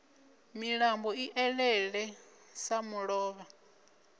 milambo i elele sa mulovha